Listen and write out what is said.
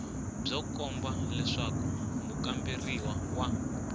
byo komba leswaku mukamberiwa wa